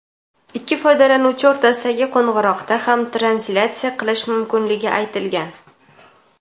ikki foydalanuvchi o‘rtasidagi qo‘ng‘iroqda ham translyatsiya qilish mumkinligi aytilgan.